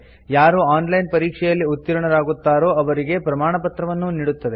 ಯಾರು online ಪರೀಕ್ಷೆಯಲ್ಲಿ ಉತ್ತೀರ್ಣರಾಗುತ್ತಾರೋ ಅವರಿಗೆ ಪ್ರಮಾಣಪತ್ರವನ್ನೂ ನೀಡುತ್ತದೆ